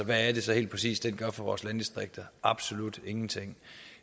er det så helt præcis den gør for vores landdistrikter absolut ingenting